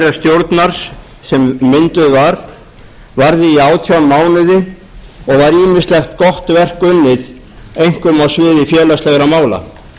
þeirrar stjórnar sem mynduð var varði í átján mánuði og var ýmislegt gott verk unnið einkum á sviði félagslegra mála